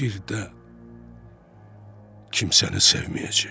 Bir də kimsəni sevməyəcəyəm.